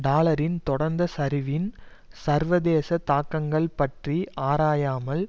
டாலரின் தொடர்ந்த சரிவின் சர்வதேச தாக்கங்கள் பற்றி ஆராயாமல்